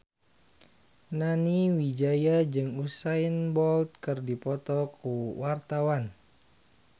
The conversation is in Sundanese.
Nani Wijaya jeung Usain Bolt keur dipoto ku wartawan